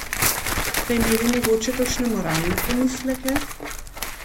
Ste imeli mogoče kakšne moralne pomisleke?